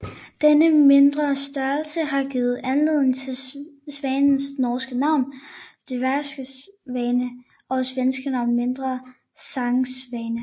Den mindre størrelse har givet anledning til svanens norske navn dværgsvane og svenske navn mindre sangsvane